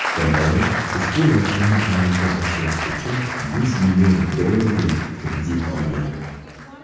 kompaniya ushbu loyihani amalga oshirish uchun yuz million dollarlik kredit olgan.